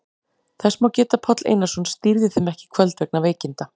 Þess má geta að Páll Einarsson stýrði þeim ekki í kvöld vegna veikinda.